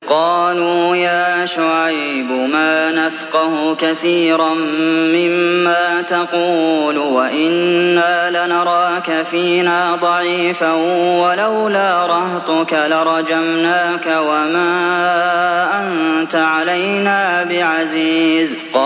قَالُوا يَا شُعَيْبُ مَا نَفْقَهُ كَثِيرًا مِّمَّا تَقُولُ وَإِنَّا لَنَرَاكَ فِينَا ضَعِيفًا ۖ وَلَوْلَا رَهْطُكَ لَرَجَمْنَاكَ ۖ وَمَا أَنتَ عَلَيْنَا بِعَزِيزٍ